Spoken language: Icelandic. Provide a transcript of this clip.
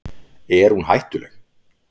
Er hún hættuleg?